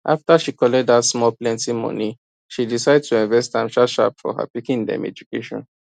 afta she collect dat small plenty money she decide to invest am sharpsharp for her pikin dem education